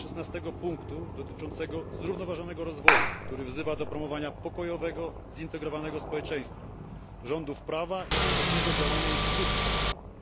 16. punktu dotyczącego zrównoważonego rozwoju, który wzywa do promowania pokojowego, zintegrowanego społeczeństwa, rządów prawa i skutecznego działania instytucji państwowych.